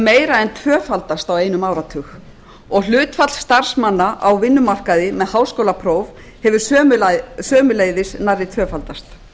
meira en tvöfaldast á einum áratug og hlutfall starfsmanna á vinnumarkaði með háskólapróf hefur sömuleiðis nærri tvöfaldast